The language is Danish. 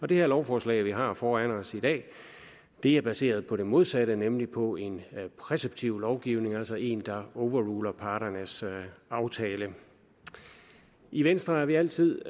det her lovforslag vi har foran os i dag er baseret på det modsatte nemlig på en præceptiv lovgivning altså en lovgivning der overruler parternes aftale i venstre er vi altid